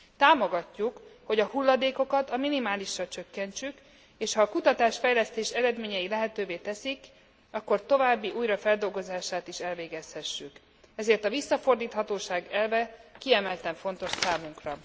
Támogatjuk, hogy a hulladékokat a minimálisra csökkentsük, és ha a kutatásfejlesztés eredményei lehetővé teszik, akkor további újrafeldolgozásukat is elvégezhessük, ezért a visszafordíthatóság elve kiemelten fontos számunkra.